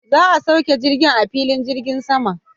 Za'a sauke jirgin a filin jirgin saman.